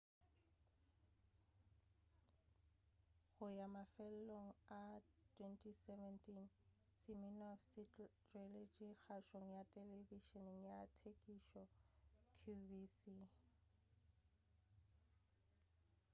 go ya mafelelong a 2017 siminoff se tšweletše kgašong ya telebišeni ya tekišo qvc